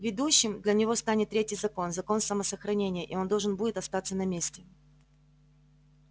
ведущим для него станет третий закон закон самосохранения и он должен будет остаться на месте